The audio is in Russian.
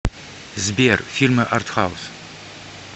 сбер фильмы артхаус